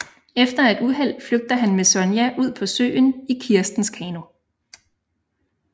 Efter et uheld flygter han med Sonja ud på søen i Kirstens kano